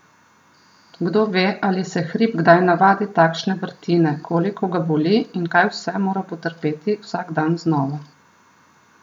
Kdo ve, ali se hrib kdaj navadi takšne vrtine, koliko ga boli in kaj vse mora potrpeti vsak dan znova.